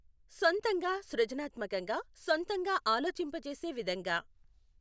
సొంతంగా సృజనాత్మకంగా సొంతంగా ఆలోచింపజేసే విధంగా